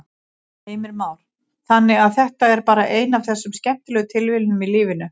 Heimir Már: Þannig að þetta er bara ein af þessum skemmtilegu tilviljunum í lífinu?